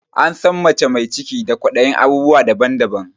An san mace mai ciki da kwaɗayin abubuwa daban daban